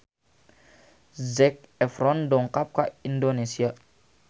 Zac Efron dongkap ka Indonesia